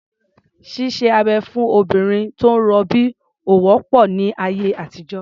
Ṣíṣe abẹ̀ fún obìnrin tó ń rọbí ò wọ́pọ̀ ní ayé àtijọ́.